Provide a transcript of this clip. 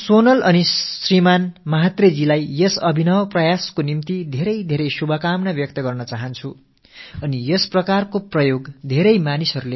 நான் சோனலுக்கும் திரு மஹாத்ரே அவர்களுக்கும் இந்த நூதன முயற்சியை மேற்கொண்டமைக்கு நெஞ்சார்ந்த வாழ்த்துக்களைத் தெரிவித்துக் கொள்கிறேன்